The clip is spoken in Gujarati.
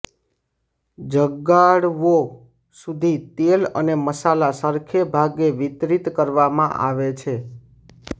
જગાડવો સુધી તેલ અને મસાલા સરખે ભાગે વિતરિત કરવામાં આવે છે